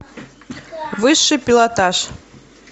высший пилотаж